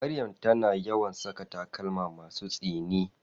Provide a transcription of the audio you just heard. Maryam tana yawan saka takalma masu tsini.